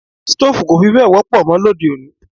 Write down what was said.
Stoofu kò fí bẹ wọ́pọ̀ mó lóde-òní.